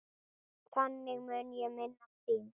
Þannig mun ég minnast þín.